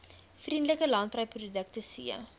vriendelike landbouprodukte c